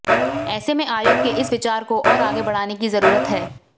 ऐसे में आयोग के इस विचार को और आगे बढ़ाने की जरूरत है